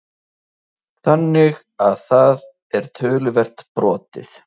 Þannig að það er töluvert brotið?